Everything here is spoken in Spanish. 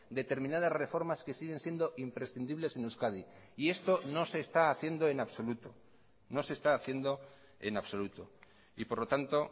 determinadas reformas que siguen siendo imprescindibles en euskadi y esto no se está haciendo en absoluto y por lo tanto